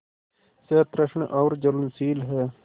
सतृष्ण और ज्वलनशील है